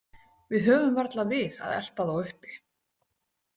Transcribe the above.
Við höfum varla við að elta þá uppi.